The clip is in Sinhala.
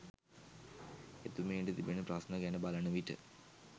එතුමියට තිබෙන ප්‍රශ්න ගැන බලන විට